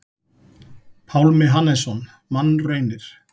Pálmi Hannesson: Mannraunir.